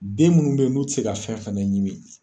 Den munnu be yen n'u te se ka fɛn fɛnɛ ɲimi